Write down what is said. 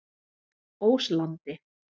Óslandi